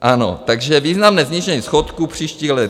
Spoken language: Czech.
Ano, takže: významné snížení schodku příštích let.